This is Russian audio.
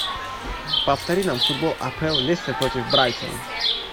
повтори нам футбол апл лестер против брайтона